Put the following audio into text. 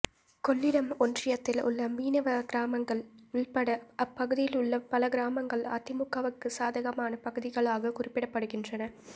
கொள்ளிடம் ஒன்றியத்தில் உள்ள மீனவ கிராமங்கள் உள்பட அப்பகுதியில் உள்ள பல கிராமங்கள் அதிமுகவுக்கு சாதகமான பகுதிகளாகக் குறிப்பிடப்படுகின்றன